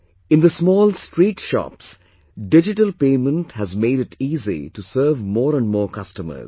In the small street shops digital paymenthas made it easy to serve more and more customers